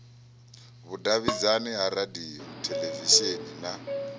vhudavhidzani ha radio theḽevishini na